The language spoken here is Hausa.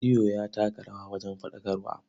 Rediyo ya taka rawa wajen faɗakarwa.